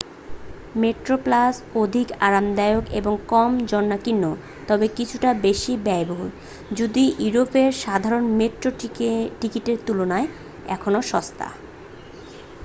Metroplus অধিক আরামদায়ক এবং কম জনাকীর্ণ তবে কিছুটা বেশি ব্যয়বহুল যদিও ইউরোপের সাধারণ মেট্রো টিকিটের তুলনায় এখনও সস্তা